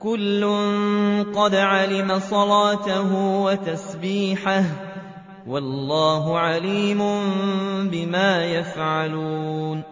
كُلٌّ قَدْ عَلِمَ صَلَاتَهُ وَتَسْبِيحَهُ ۗ وَاللَّهُ عَلِيمٌ بِمَا يَفْعَلُونَ